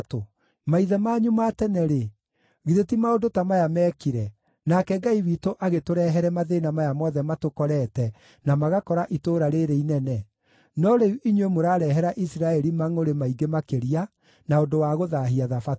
Maithe manyu ma tene-rĩ, githĩ ti maũndũ ta maya meekire, nake Ngai witũ agĩtũrehere mathĩĩna maya mothe matũkorete na magakora itũũra rĩĩrĩ inene? No rĩu inyuĩ mũrarehera Isiraeli mangʼũrĩ maingĩ makĩria na ũndũ wa gũthaahia Thabatũ.”